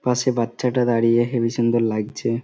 পাশে বাচ্চাটা দাঁড়িয়ে হেবি সুন্দর লাগছে।